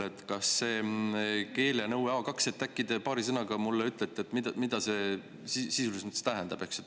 Mida see keelenõue A2 sisuliselt tähendab, äkki te paari sõnaga ütlete mulle?